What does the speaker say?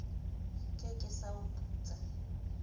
ke ke sa o putsa